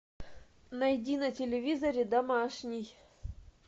найди на телевизоре домашний